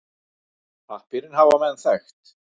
Pappírinn hafa menn þekkt.